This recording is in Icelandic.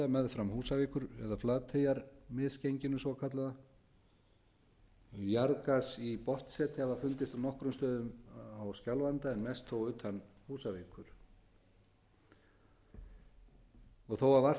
meðfram húsavíkur eða flateyjarmisgenginu svokallaða jarðgas í botnsetri hefur fundist á nokkrum stöðum á skjálfanda en mest þó utan húsavíkur þó að vart